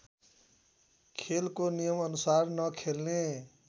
खेलको नियमअनुसार नखेल्ने